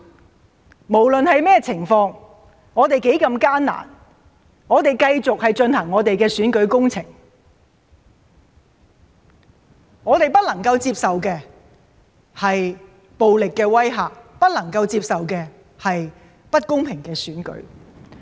我們不論有任何情況，有多麼艱難，仍會繼續進行選舉工程，我們不能接受暴力的威嚇，不能接受不公平的選舉。